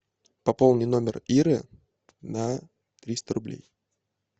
пополни номер иры на триста рублей